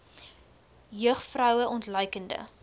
jeug vroue ontluikende